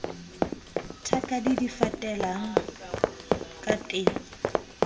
thakadi di fatelang ka teng